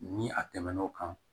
Ni a tɛmɛn'o kan